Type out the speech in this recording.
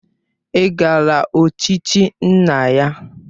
Ị gara ochichi nna ya?